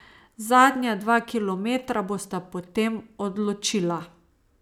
Zadnja dva kilometra bosta potem odločila.